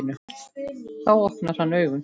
Þá opnar hann augun.